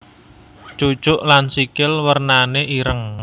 Cucuk lan sikil wernané ireng